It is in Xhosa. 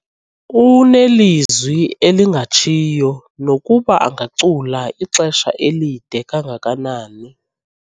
Unelizwi elingatshiyo nokuba angacula ixesha elide kangakanani.